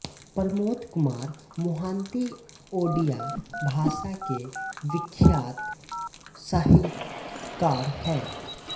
प्रमोद कुमार मोहांती ओड़िया भाषा के विख्यात साहित्यकार हैं